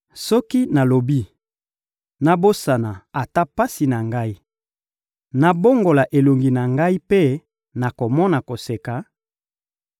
Soki nalobi: ‹Nabosana ata pasi na ngai, nabongola elongi na ngai mpe nakoma koseka,›